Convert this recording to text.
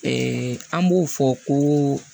an b'o fɔ ko